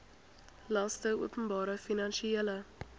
laste openbare finansiële